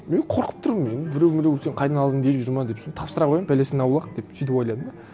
мен қорқып тұрмын мен біреу міреу сен қайдан алдың деп жүре ме деп соны тапсыра қояйын бәлесінен аулақ деп сөйтіп ойладым да